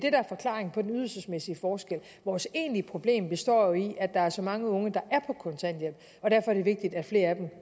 er forklaringen på den ydelsesmæssige forskel vores egentlige problem består jo i at der er så mange unge der er på kontanthjælp og derfor er det vigtigt at flere af dem